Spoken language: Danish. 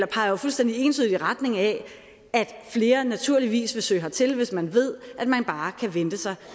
peger jo fuldstændig entydigt i retning af at flere naturligvis vil søge hertil hvis man ved at man bare kan vente sig